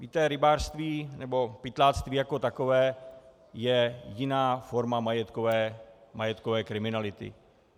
Víte, rybářství nebo pytláctví jako takové je jiná forma majetkové kriminality.